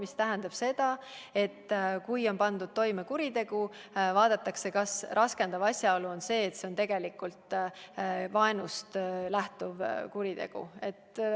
See tähendab seda, et kui on pandud toime kuritegu, siis vaadatakse ka, kas raskendav asjaolu on see, et see oli vaenust lähtunud kuritegu.